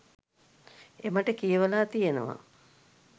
එමට කියවලා තියෙනවා.